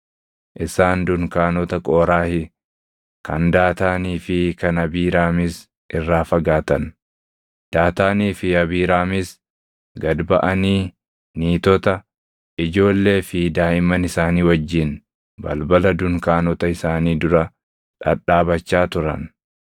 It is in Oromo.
Isaan dunkaanota Qooraahi, kan Daataanii fi kan Abiiraamiis irraa fagaatan. Daataanii fi Abiiraamiis gad baʼanii niitota, ijoollee fi daaʼimman isaanii wajjin balbala dunkaanota isaanii dura dhadhaabachaa turan.